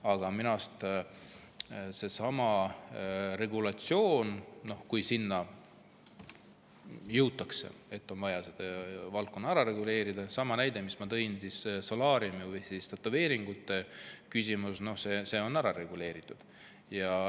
Aga selle regulatsiooni kohta – kui selleni jõutakse –, et on vaja see valdkond ära reguleerida, ütlen, et tõin näite solaariumi või tätoveeringute kohta, mis on ära reguleeritud.